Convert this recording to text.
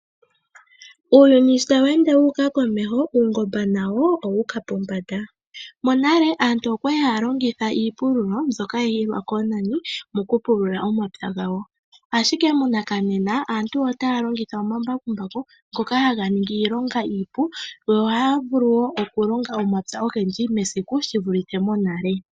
Uuyuni sho tawende wuuka komeho, uungomba nawo owuuka pombanda. Monale aantu okwali haalongitha iipululo mbyoka hayi hilwa koonani moku pulula omapya gawo. Ashike monakanena, aantu otaa longitha omambakumbaku ngoka haga ningi iilonga iipu yo ohaavulu wo okulonga omapya ogendji mesiku shivulithe monale.